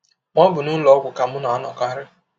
Ma, ọ bụ n’ụlọ ọgwụ ka m na - anọkarị.